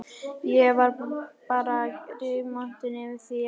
Ég var bara rígmontin yfir því að